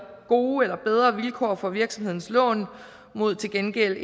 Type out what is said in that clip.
gode eller bedre vilkår for virksomhedens lån mod til gengæld